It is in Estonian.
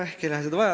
Ehk ei lähe seda vaja.